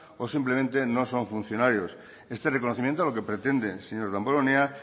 o simplemente no son funcionarios este reconocimiento lo que pretende señor damborenea